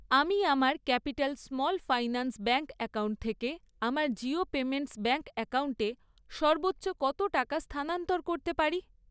আমি আমার capital small finance bank account থেকে আমার জিও পেমেন্টস ব্যাঙ্ক অ্যাকাউন্টে সর্বোচ্চ কত টাকা স্থানান্তর করতে পারি?